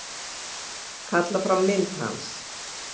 Kalla fram mynd hans.